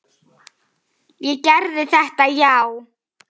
Ég gerði þetta, já.